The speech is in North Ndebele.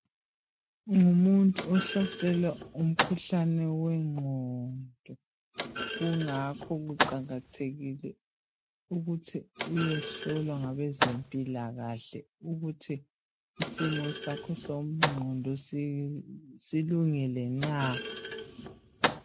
Ungumuntu ohlaselwa ngumkhuhlane wenqondo kungakho kuqakathekile ukuthi uyehlolwa ngabezempila kahle ukuthi isimo sakho somqhondo silungile na